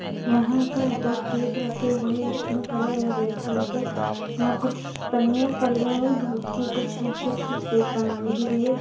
यहाँ पर दो केक रखे हुए हैं एक पिंक कलर एक रेड कलर पे यहाँ कुछ पन्निया पड़ी हुई हैं दूध कि कुछ कुछ केक बनाने के लिए।